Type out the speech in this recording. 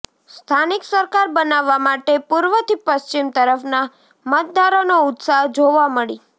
સ્થાનિક સરકાર બનાવવા માટે પૂર્વથી પશ્ચિમ તરફના મતદારોનો ઉત્સાહ જોવા મળી